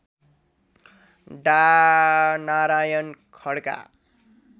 डा नारायण खड्का